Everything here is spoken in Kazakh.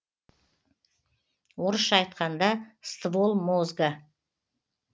орысша айтқанда ствол мозга